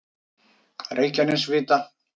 Reykjanesvita